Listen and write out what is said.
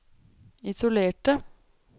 isolerte